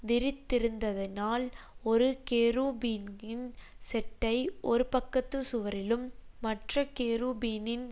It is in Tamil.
விரித்திருந்ததினால் ஒரு கேருபீனின் செட்டை ஒருபக்கத்துச் சுவரிலும் மற்ற கேருபீனின்